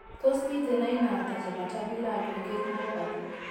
Tos miten aina ata chebo tubular aggregate myopathy ?